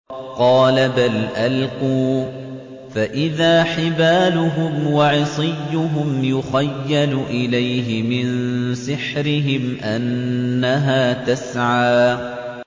قَالَ بَلْ أَلْقُوا ۖ فَإِذَا حِبَالُهُمْ وَعِصِيُّهُمْ يُخَيَّلُ إِلَيْهِ مِن سِحْرِهِمْ أَنَّهَا تَسْعَىٰ